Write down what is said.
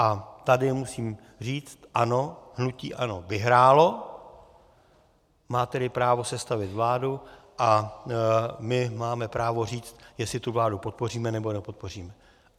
A tady musím říct ano, hnutí ANO vyhrálo, má tedy právo sestavit vládu a my máme právo říct, jestli tu vládu podpoříme, nebo nepodpoříme.